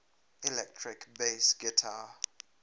electric bass guitar